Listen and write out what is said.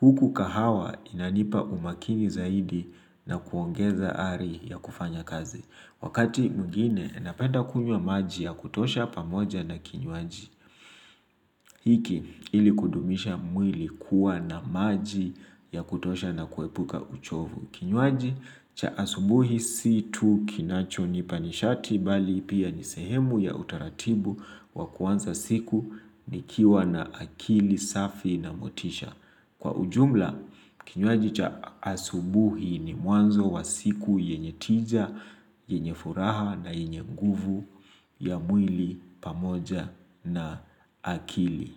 Huku kahawa inanipa umakini zaidi na kuongeza ari ya kufanya kazi. Wakati mwingine napenda kunywa maji ya kutosha pamoja na kinywaji. Hiki ili kudumisha mwili kuwa na maji ya kutosha na kuepuka uchovu. Kinywaji cha asubuhi si tu kinachonipa nishati bali pia ni sehemu ya utaratibu wa kuanza siku nikiwa na akili safi na motisha. Kwa ujumla, kinywaji cha asubuhi ni mwanzo wa siku yenye tija, yenye furaha na yenye nguvu ya mwili, pamoja na akili.